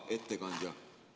Hea ettekandja!